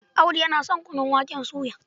Audu yana son kunun waken soya.